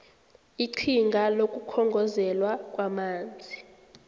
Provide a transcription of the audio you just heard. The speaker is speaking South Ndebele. iqhinga lokukhongozelwa kwamanzi